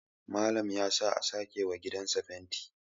Malam ya sa a sake wa gidansa fenti